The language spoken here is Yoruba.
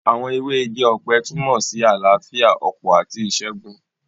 Àwọn ewé igi ọ̀pẹ túnmọ̀ sí àlàáfíà, ọ̀pọ̀ àti ìṣẹ́gun